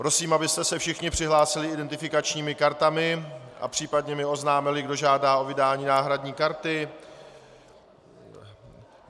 Prosím, abyste se všichni přihlásili identifikačními partami a případně mi oznámili, kdo žádá o vydání náhradní karty.